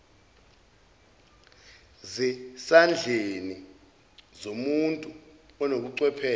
sezandleni zomuntu onobuchwepheshe